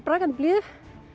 brakandi blíðu á